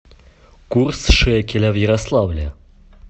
курс шекеля в ярославле